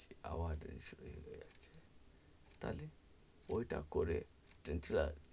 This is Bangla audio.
আবার তাহলে ওইটা করে ,